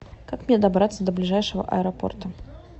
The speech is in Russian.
как мне добраться до ближайшего аэропорта